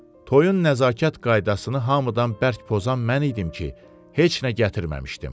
Toyun nəzakət qaydasını hamıdan bərk pozan mən idim ki, heç nə gətirməmişdim.